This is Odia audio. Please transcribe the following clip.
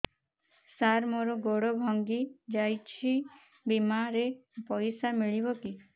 ସାର ମର ଗୋଡ ଭଙ୍ଗି ଯାଇ ଛି ବିମାରେ ପଇସା ମିଳିବ କି